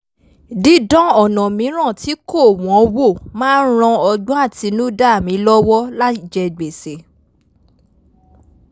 dídán ọ̀nà míìràn tí kò wọ́n wò máa ń ràn ogbọ́n àtinúdá mi lọ́wọ́ láì jẹ gbèsè